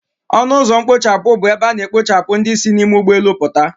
Ọnụ ụzọ mkpochapụ bụ ebe a na-ekpochapụ ndị si n'ime ụgbọelu puta